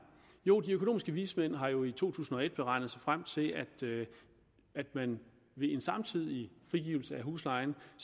jo de økonomiske vismænd har jo i to tusind og et regnet sig frem til at en samtidig frigivelse af huslejen